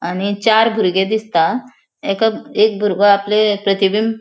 आनी चार भुर्गे दिसता एका एक भुर्गो आपले प्रतिबिंब --